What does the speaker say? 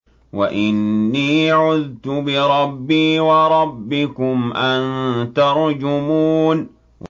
وَإِنِّي عُذْتُ بِرَبِّي وَرَبِّكُمْ أَن تَرْجُمُونِ